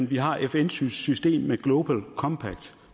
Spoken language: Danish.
vi har fns system med global compact